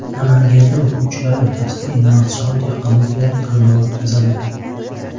Namanganda o‘quvchilar o‘rtasida innovatsion texnologiyalar tanlovi o‘tkazildi.